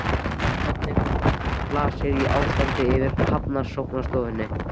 En hvernig blasir ástandið við Hafrannsóknastofnun?